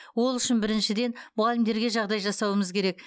ол үшін біріншіден мұғалімдерге жағдай жасауымыз керек